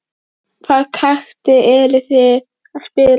Hvaða taktík eruð þið að spila?